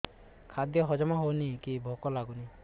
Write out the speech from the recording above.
ଖାଦ୍ୟ ହଜମ ହଉନି କି ଭୋକ ଲାଗୁନି